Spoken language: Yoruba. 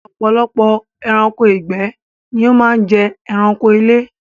Ọ̀pọ̀lọpọ̀ ẹranko ìgbẹ́ ni ó máa ń jẹ ẹranko ilé.